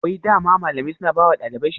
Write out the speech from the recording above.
Wai dama malamai suna bawa ɗalibai shawara?